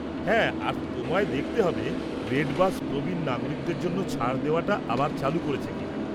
-হ্যাঁ, আর তোমায় দেখতে হবে রেডবাস প্রবীণ নাগরিকদের জন্য ছাড় দেওয়াটা আবার চালু করেছে কিনা।